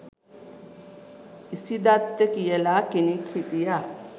ඉසිදත්ත කියලා කෙනෙක් හිටියා.